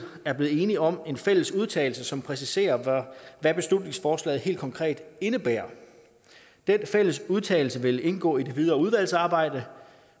er blevet enige om en fælles udtalelse som præciserer hvad beslutningsforslaget helt konkret indebærer den fælles udtalelse vil indgå i det videre udvalgsarbejde